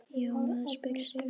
Já, maður spyr sig?